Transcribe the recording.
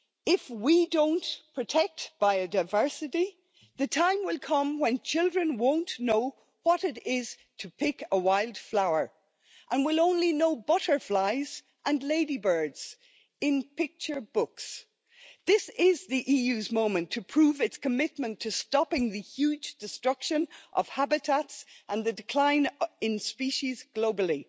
If we don't protect biodiversity, the time will come when children won't know what it is to pick a wild flower, and we'll only know butterflies and ladybirds in picture books. This is the EU's moment to prove its commitment to stopping the huge destruction of habitats and the decline in species globally.